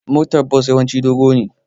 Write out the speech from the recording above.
motar Bus yawanci doge ne